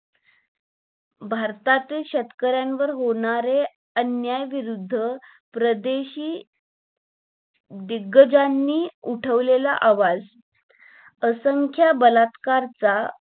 भारतातील शेतकऱ्यावर होणारे अन्याय विरुद्ध प्रदेशी दिग्ग्जनी उठवलेलं आवाज असंख्य बलात्कार चा